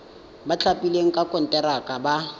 ba thapilweng ka konteraka ba